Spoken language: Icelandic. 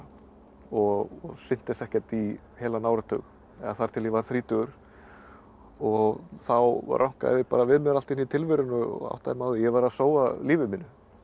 og sinnti þessu ekkert í heilan áratug eða þar til ég var þrítugur og þá rankaði ég bara við mér allt í einu í tilverunni og áttaði mig á því að ég var að sóa lífi mínu